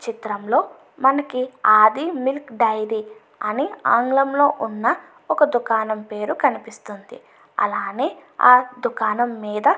చిత్రంలో మనకి Aadi milk dairy అని ఆంగ్లంలో ఉన్న ఒక దుకాణం పేరు కనిపిస్తుంది అలానే ఆ దుకాణం మీద --